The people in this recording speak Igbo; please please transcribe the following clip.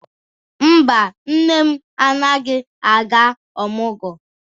Mba, nne m anaghị aga ọmụgwọ.